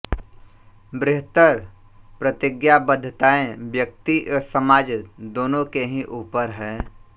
बृहत्तर प्रतिज्ञाबद्धताएँ व्यक्ति एवं समाज दोनों के ही ऊपर हैं